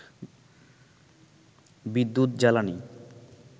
বিদ্যুৎ, জ্বালানি